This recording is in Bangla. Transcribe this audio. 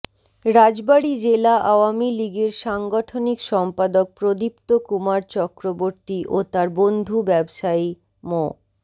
রাজবাড়ী জেলা আওয়ামী লীগের সাংগঠনিক সম্পাদক প্রদীপ্ত কুমার চক্রবর্তী ও তার বন্ধু ব্যবসায়ী মো